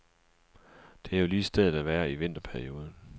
Det er jo lige stedet at være i vinterperioden.